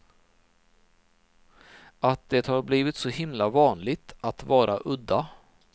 Att det har blivit så himla vanligt att vara udda.